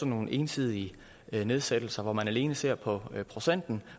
nogle ensidige nedsættelser hvor man alene ser på procenten